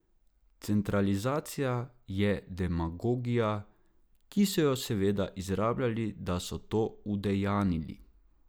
Centralizacija je demagogija, ki so jo seveda izrabljali da so to udejanili.